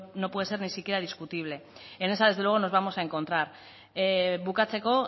no puede ser ni siquiera discutible en esa desde luego nos vamos a encontrar bukatzeko